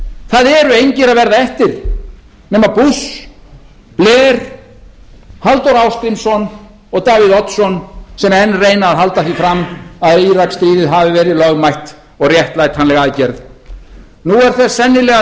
það eru engir að verða eftir nema bush blair halldór ásgrímsson og davíð oddsson sem enn reyna að halda því fram að íraksstríðið hafi verið lögmætt og réttlætanleg aðgerð nú er þess sennilega